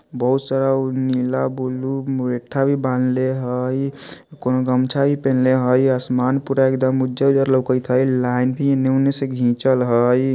बहुत सारा उ नीला ब्लू मुरैठा भी बांधले हइ कोनो गम्छा भी पेहनले हइ आसमान पूरा एकदम उज्जर-उज्जर लोकत हइ लाइन भी एने ओने से घिचल हइ ।